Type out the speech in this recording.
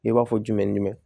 I b'a fɔ jumɛn ni jumɛn